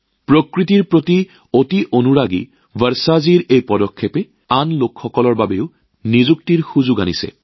প্ৰকৃতিৰ প্ৰতি অতি আকৰ্ষিত বৰ্ষাজীৰ এই পদক্ষেপে আন মানুহৰ বাবেও কৰ্মসংস্থাপনৰ সুবিধা কঢ়িয়াই আনিছে